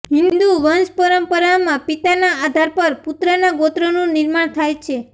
હિન્દુ વંશપરંપરામાં પિતાના આધાર પર પુત્રના ગોત્રનું નિર્માણ થાય છે